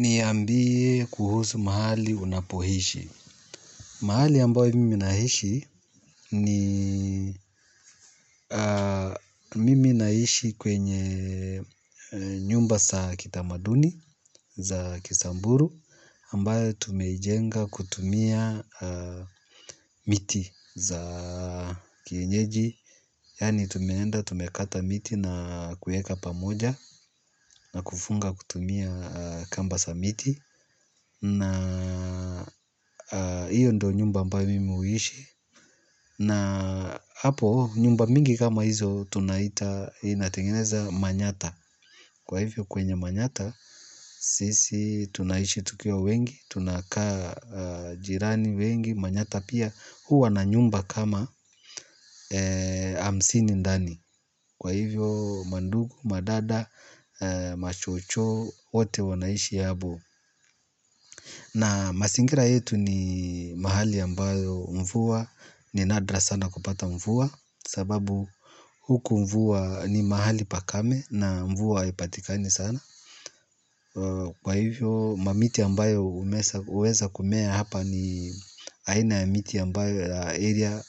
Niambie kuhusu mahali unapoishi. Mahali ambayo mimi naishi ni mimi naishi kwenye nyumba za kitamaduni za kisamburu ambayo tumejenga kutumia miti za kienjeji. Yaani tumeenda tumekata miti na kuweka pamoja na kufunga kutumia kamba za miti na hiyo ndio nyumba ambayo mimi huishi na hapo nyumba mingi kama hizo tunaita inatengeneza manyatta. Kwa hivyo kwenye manyatta sisi tunaishi tukiwa wengi. Tunakaa jirani wengi manyatta pia huwa na nyumba kama hamsini ndani. Kwa hivyo mandugu, madada, mashosho, wote wanaishi hapo. Na mazingira yetu ni mahali ambayo mvua, ni nadra sana kupata mvua sababu huku mvua ni mahali pakame na mvua haipatikani sana. Kwa hivyo mamiti ambayo huweza kumea hapa ni aina ya miti ambayo area